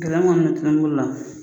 bɛ tulon k'u la